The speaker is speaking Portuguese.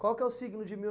Qual que é o signo de mil